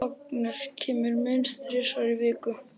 Agnes kemur minnst þrisvar í viku.